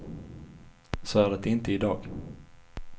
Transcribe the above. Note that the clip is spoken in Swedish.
Så är det inte i dag.